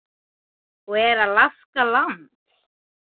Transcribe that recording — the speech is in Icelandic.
og Er Alaska land?